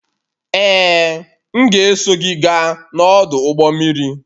Ee, m ga-eso gị gaa n'ọdụ ụgbọ mmiri